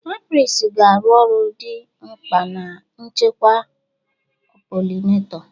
Apiaries ga-arụ ọrụ dị mkpa na nchekwa pollinator.